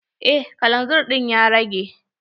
Eh kalanzir ɗin ya rage.